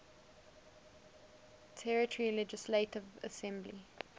territory legislative assembly